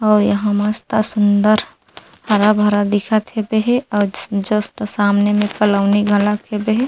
अउ यहाँ मस्त सुन्दर हरा-भरा दिखत हेबे हे अउ जस्ट सामने में कॉलोनी घलक हेबे हे।